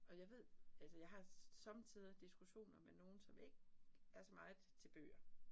Og jeg ved, altså jeg har somme tider diskussioner med nogen, som ikke er så meget til bøger